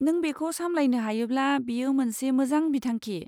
नों बेखौ सामलायनो हायोब्ला बेयो मोनसे मोजां बिथांखि।